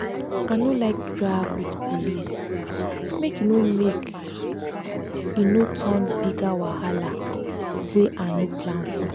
i no like drag with police make e no make e no turn bigger wahala wey i no plan for.